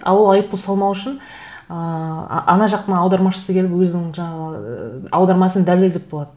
а ол айыппұл салмау үшін ыыы ана жақтың аудармашысы келіп өзінің жаңағы ыыы аудармасын дәлелдеп болады